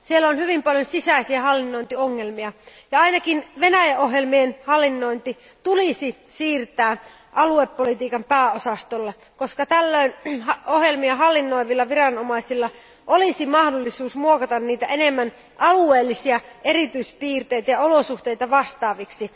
Siellä on hyvin paljon sisäisiä hallinnointiongelmia ja ainakin Venäjä ohjelmien hallinnointi tulisi siirtää aluepolitiikan pääosastolle, koska tällöin ohjelmia hallinnoivilla viranomaisilla olisi mahdollisuus muokata niitä enemmän alueellisia erityispiirteitä ja olosuhteita vastaaviksi.